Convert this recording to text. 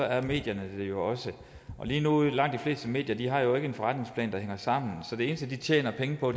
er medierne det jo også lige nu har langt de fleste medier jo ikke en forretningsplan der hænger sammen så det eneste de tjener penge på